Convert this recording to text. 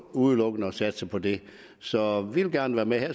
udelukkende at satse på det så vi vil gerne være med